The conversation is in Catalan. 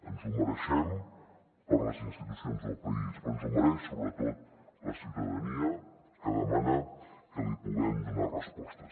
ens ho mereixem per les institucions del país però s’ho mereix sobretot la ciutadania que demana que li puguem donar respostes